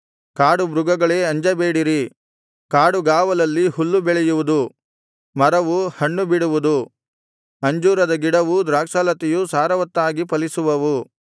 ಕಾಡುಮೃಗಗಳೇ ಅಂಜಬೇಡಿರಿ ಕಾಡುಗಾವಲಲ್ಲಿ ಹುಲ್ಲು ಮೊಳೆಯುವುದು ಮರವು ಹಣ್ಣು ಬಿಡುವುದು ಅಂಜೂರದ ಗಿಡವೂ ದ್ರಾಕ್ಷಾಲತೆಯೂ ಸಾರವತ್ತಾಗಿ ಫಲಿಸುವವು